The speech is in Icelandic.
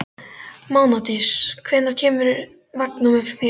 Mánadís, hvenær kemur vagn númer fjögur?